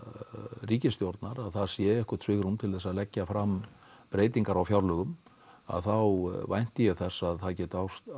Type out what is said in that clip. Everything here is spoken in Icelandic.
ríkisstjórnar að það sé eitthvað svigrúm til að leggja fram breytingar á fjárlögum þá vænti ég þess að það geti